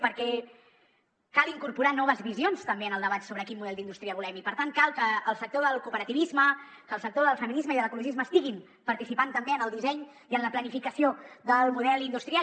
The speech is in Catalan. perquè cal incorporar noves visions també en el debat sobre quin model d’indústria volem i per tant cal que el sector del cooperativisme que el sector del feminisme i de l’ecologisme estiguin participant també en el disseny i en la planificació del model industrial